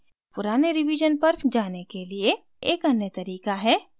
पुराने रिवीजन पर जाने के लिए एक अन्य तरीका है